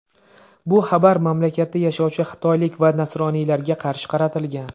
Bu xabarlar mamlakatda yashovchi xitoylik va nasroniylarga qarshi qaratilgan.